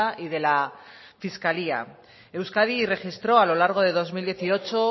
y de la fiscalía euskadi registró a lo largo de dos mil dieciocho